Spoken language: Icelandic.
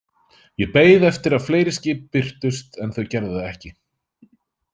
Ég beið eftir að fleiri skip birtust, en þau gerðu það ekki.